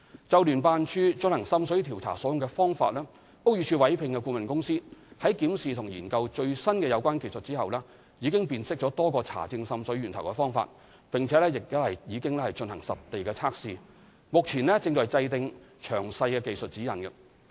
就聯辦處進行滲水調查所用的方法，屋宇署委聘的顧問公司，在檢視及研究最新的有關技術之後，已辨識多個查證滲水源頭的方法，並已進行實地測試，目前正制訂詳細技術指引。